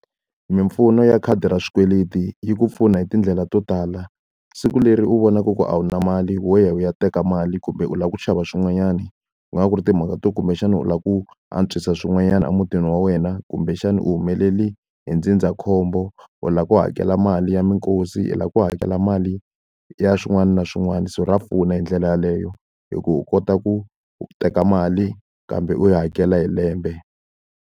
Mimpfuno ya khadi ra swikweleti yi ku pfuna hi tindlela to tala. Siku leri u vonaka ku a wu na mali wa ya u ya teka mali kumbe u lava ku xava swin'wanyani, ku nga va ku ri timhaka to kumbexana u lava ku antswisa swin'wanyana emutini wa wena, kumbexana u humelele hi ndzindzakhombo, u lava ku hakela mali ya minkosi, i lava ku hakela mali ya swin'wana na swin'wana, so ra pfuna hi ndlela yaleyo. Hi ku u kota ku teka mali kambe u yi hakela hi lembe.